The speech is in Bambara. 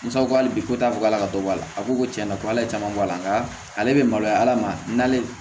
Musaka hali bi ko t'a fɔ k' ala ka dɔ bɔ a la a ko ko tiɲɛna ko ala ye caman bɔ ala nka ale be maloya ala ma n'ale